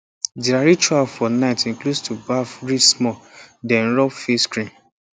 their ritual for night include to baff read small then rub face cream